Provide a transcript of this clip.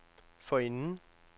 forinden